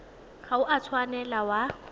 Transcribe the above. ga o a tshwanela wa